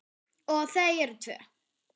Og þau eru tvö.